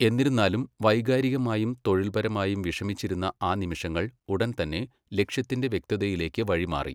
എന്നിരുന്നാലും, വൈകാരികമായും തൊഴില്പരമായും വിഷമിച്ചിരുന്ന ആ നിമിഷങ്ങൾ ഉടൻ തന്നെ ലക്ഷ്യത്തിന്റെ വ്യക്തതയിലേക്ക് വഴിമാറി.